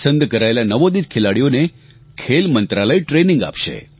પસંદ કરાયેલા નવોદિત ખેલાડીઓને ખેલ મંત્રાલય ટ્રેનિંગ આપશે